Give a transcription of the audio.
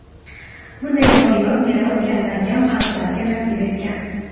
bunday noyob meros kamdan-kam xalqlarga nasib etgan.